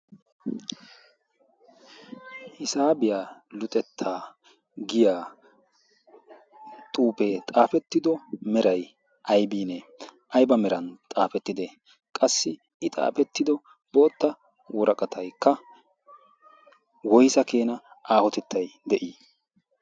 hisaabiya luxettaa giya xuufee xaafettido meray ayibiinee? ayba meran xaafettide? qassi i xaafettido boottaa woraqatayikka woysa meray de'i?